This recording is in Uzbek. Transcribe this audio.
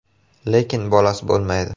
Lekin bolasi bo‘lmaydi.